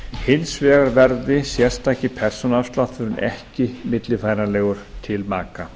hins vegar verði sérstaki persónuafslátturinn ekki millifæranlegur til maka